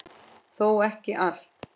Þó ekki allt.